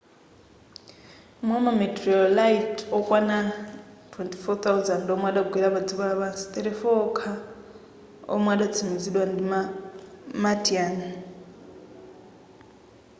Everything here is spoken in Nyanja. mwa ma meteorite okwana 24,000 omwe adagwera pa dziko lapansi 34 okha ndi omwe adatsimikizidwa ndi ma martian